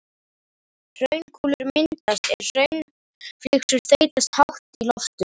Hraunkúlur myndast er hraunflygsur þeytast hátt í loft upp.